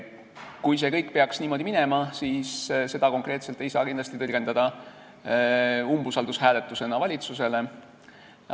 Kui see kõik peaks niimoodi minema, siis seda konkreetselt ei saa kindlasti tõlgendada umbusaldushääletusena valitsusele.